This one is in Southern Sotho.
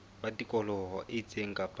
ba tikoloho e itseng kapa